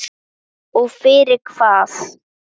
Og fyrir hvað?